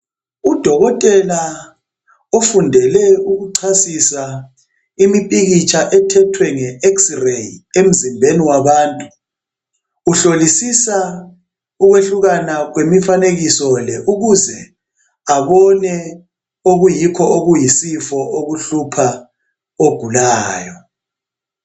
Udokotela ofundele ukuchasisa impikitsha ethethwe ngex ray emzimbeni wabantu uhlolisa ukwehlukana kwemifanekiso le ukuze ababone okuyikho okuyisifo okuhlupha ogulayo